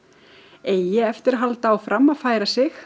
eigi eftir að halda áfram að færa sig